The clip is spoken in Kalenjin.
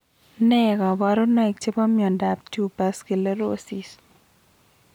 Ne kaparunoik chepo miondap tuberous sclerosis